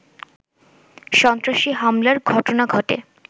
সন্ত্রাসী হামলার ঘটনা ঘটে